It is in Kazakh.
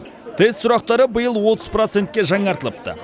тест сұрақтары биыл отыз процентке жаңартылыпты